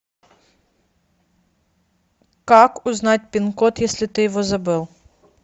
как узнать пин код если ты его забыл